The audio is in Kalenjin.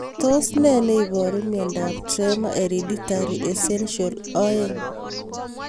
Tos nee neiparu miondop Tremor hereditary essential, 2?